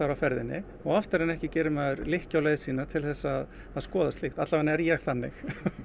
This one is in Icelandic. á ferðinni og oftar en ekki gerir maður lykkju á leið sína til þess að skoða slíkt allavega er ég þannig